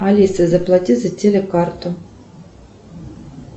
алиса заплати за телекарту